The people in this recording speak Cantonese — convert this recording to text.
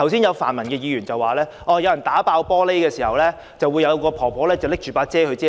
有泛民議員剛才說，當有人打破玻璃時，有一位婆婆撐着傘保護他。